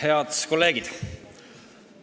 Head kolleegid!